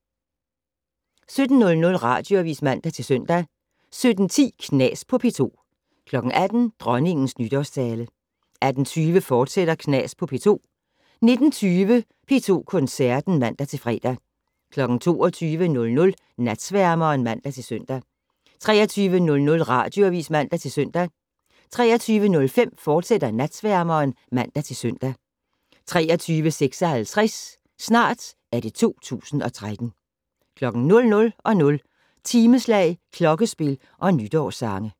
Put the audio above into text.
17:00: Radioavis (man-søn) 17:10: Knas på P2 18:00: Dronningens nytårstale 18:20: Knas på P2, fortsat 19:20: P2 Koncerten (man-fre) 22:00: Natsværmeren (man-søn) 23:00: Radioavis (man-søn) 23:05: Natsværmeren, fortsat (man-søn) 23:56: Snart er det 2013 00:00: Timeslag, klokkespil og nytårssange